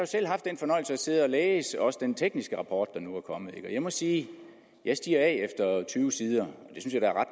selv haft den fornøjelse at sidde og læse også den tekniske rapport der nu er kommet og jeg må sige at jeg stiger af efter tyve sider